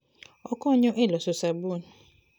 Okonyo e loso sabun.